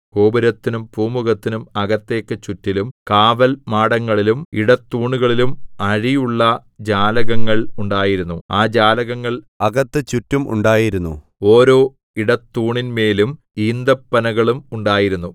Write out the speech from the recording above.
ഗോപുരത്തിനും പൂമുഖത്തിനും അകത്തേക്ക് ചുറ്റിലും കാവൽമാടങ്ങളിലും ഇടത്തൂണുകളിലും അഴിയുള്ള ജാലകങ്ങൾ ഉണ്ടായിരുന്നു ആ ജാലകങ്ങൾ അകത്ത് ചുറ്റും ഉണ്ടായിരുന്നു ഓരോ ഇടത്തൂണിന്മേലും ഈന്തപ്പനകളും ഉണ്ടായിരുന്നു